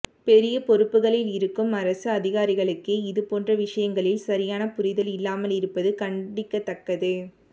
பெரிய பொறுப்புகளில் இருக்கும் அரசு அதிகாரிகளுக்கே இது போன்ற விஷயங்களில் சரியான புரிதல் இல்லாமல் இருப்பது கண்டிக்கத்தக்கது